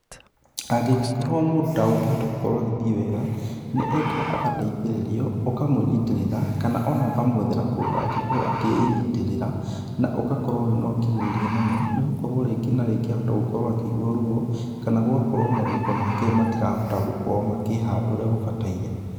Angĩ gĩkorwo mũndũ ndekũhota gũkorwo agithiĩ wega, nĩ endaga agateithĩrĩrio, ũkamũnyitĩrĩra ona kana ũkamwethera kũndũ angĩkorwo akĩnyitĩrĩra, na ũgakorwo wĩna ũkirĩrĩria mũno nĩ gũkorwo rĩngĩ na rĩngĩ ahota gũkorwo akĩigua ruo kana gũgakorwo marũngo make matirahota gũkorwo makĩhanda ũrĩa mabataire.